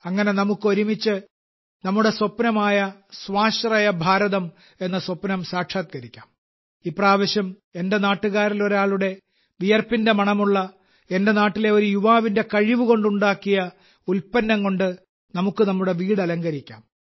അങ്ങനെ നമുക്ക് ഒരുമിച്ച് നമ്മുടെ സ്വപ്നമായ സ്വാശ്രയ ഭാരതം എന്ന സ്വപ്നം സാക്ഷാത്കരിക്കാം ഇപ്രാവശ്യം എന്റെ നാട്ടുകാരിൽ ഒരാളുടെ വിയർപ്പിന്റെ മണമുള്ള എന്റെ നാട്ടിലെ ഒരു യുവാവിന്റെ കഴിവ് കൊണ്ട് ഉണ്ടാക്കിയ ഉൽപ്പന്നം കൊണ്ട് നമുക്ക് നമ്മുടെ വീട് അലങ്കരിക്കാം